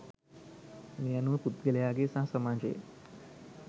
මේ අනුව පුද්ගලයාගේ සහ සමාජයේ